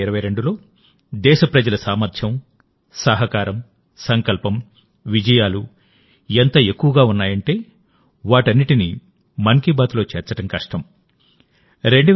2022లోదేశ ప్రజల సామర్థ్యం సహకారం సంకల్పం విజయాలు ఎంత ఎక్కువగా ఉన్నాయంటే వాటన్నిటినీ మన్ కీ బాత్లో చేర్చడం కష్టం